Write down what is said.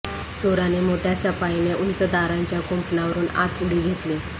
चोराने मोठ्या सफाईने उंच तारांच्या कुंपणावरून आत उडी घेतली